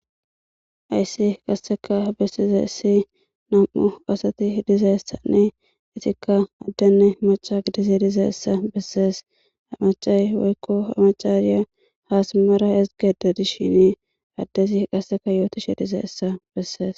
Hayssi qasdekka bessizayti nam7u asati dizayssanneizetikka adfenne macva gididayssa bessees ha simmada dishini addezi qassekka yootishe dizayssa bessees.